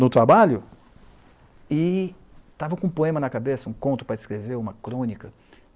no trabalho, e estava com um poema na cabeça, um conto para escrever, uma crônica.